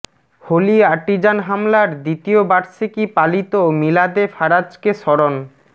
Holi Artisan হামলার দ্বিতীয় বার্ষিকী পালিত মিলাদে ফারাজকে স্মরণ